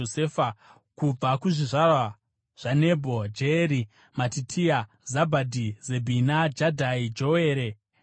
Kubva kuzvizvarwa zvaNebho: Jeyeri, Matitia, Zabhadhi, Zebhina, Jadhai, Joere naBhenaya.